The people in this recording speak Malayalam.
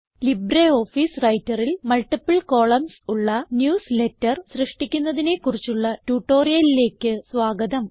ലിബ്രിയോഫീസ് Writerൽ മൾട്ടിപ്പിൾ കോളംൻസ് ഉള്ള ന്യൂസ്ലേറ്റർ സൃഷ്ടിക്കുന്നതിനെ കുറിച്ചുള്ള ട്യൂട്ടോറിയലിലേക്ക് സ്വാഗതം